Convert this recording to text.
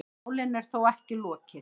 Málinu er þó ekki lokið.